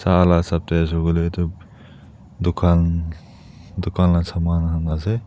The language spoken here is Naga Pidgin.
la hisap teh kuile tu dukan dukan la saman khan ase.